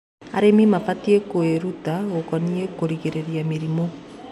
Arĩmĩ mabatĩe kwĩrũta gũkonĩe kũgĩrĩrĩrĩa mĩrĩmũ